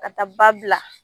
Ka taa ba bila